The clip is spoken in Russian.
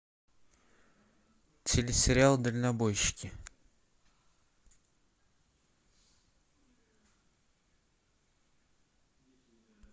телесериал дальнобойщики